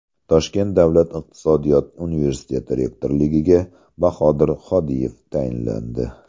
Toshkent Davlat iqtisodiyot universiteti rektorligiga Bahodir Hodiyev tayinlandi .